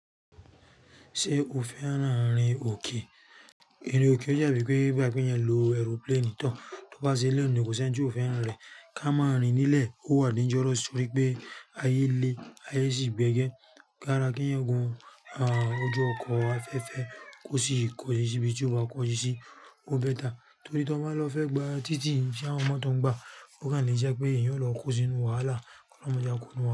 Ṣé o fẹ́ran rìn òkè? Ìrìn òkè ó jẹ́ bí pé bá kí èèyàn lọ ẹrúpléènì tán, tó bá sí ilẹ̀ nì kò ṣe n ju ò fẹ́ràn rẹ̀. Ka máa rìn nílẹ̀ ó wà níjọ́ró torí pé ayé le, ayé sì gbége. Gára kí ẹ gun ọjọ́ ọkọ̀ afẹ́fẹ́ kó sí ìkọ̀jú tíbí tí o wa kọ̀jú sí ó bẹ́ta. Torí tí wọ́n máa lọ fẹ́ gba títì sí àwọn ọmọ tó ń gba ó kàn ní jẹ́ pé èèyàn ó lọ kó sínú wàhálà, ọlọ́mọdé á kó nu wàhálà.